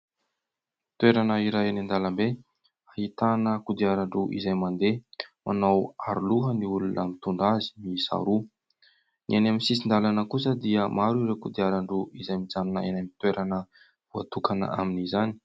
Toerana iray eny andalambe ahitana kodiarandroa izay mandeha, manao aroloha ny olona mitondra azy miisa roa. Ny any amin'ny sisin-dalana kosa dia maro ireo kodiarandro izay mijanona eny amin'ny toerana voatokana amin'izany.